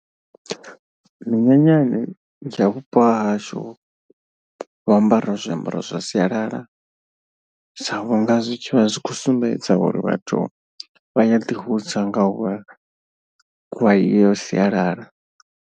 Minyanyani ya vhupo hahashu vha ambara zwiambaro zwa sialala, sa vhunga zwi vha zwi khou sumbedza uri vhathu vha ya ḓi hudza nga uvha vha iyo sialala.